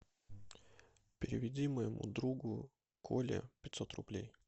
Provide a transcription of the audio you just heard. переведи моему другу коле пятьсот рублей